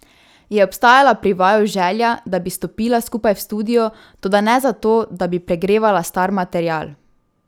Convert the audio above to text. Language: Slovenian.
Je obstajala pri vaju želja, da bi stopila skupaj v studio, toda ne zato, da bi pregrevala star material?